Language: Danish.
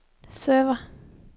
server